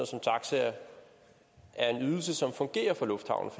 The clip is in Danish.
som taxaer er en ydelse som fungerer for lufthavnen